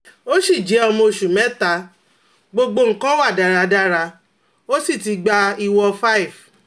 o si je omo osu meta, gbogbo nkan wa daradara, o si ti gba iwo 5